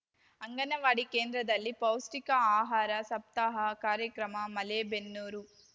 ಅಂಗನವಾಡಿ ಕೇಂದ್ರದಲ್ಲಿ ಪೌಷ್ಟಿಕ ಆಹಾರ ಸಪ್ತಾಹ ಕಾರ್ಯಕ್ರಮ ಮಲೇಬೆನ್ನೂರು